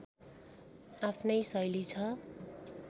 आफ्नै शैली छ